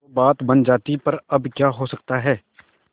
तो बात बन जाती पर अब क्या हो सकता है